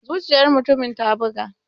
Zuciyar mutumin ta buga.